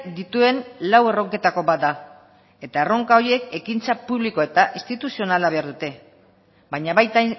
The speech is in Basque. dituen lau erronketako bat da eta erronka horiek ekintza publiko eta instituzionala behar dute baina baita